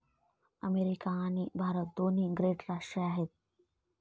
America आणि भारत दोन्ही great राष्ट्रे आहेत.